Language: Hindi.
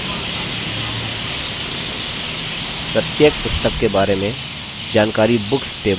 प्रत्येक पुस्तक के बारे में जानकारी books table में संचित कर सकते हैं